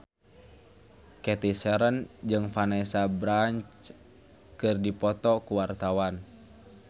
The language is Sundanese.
Cathy Sharon jeung Vanessa Branch keur dipoto ku wartawan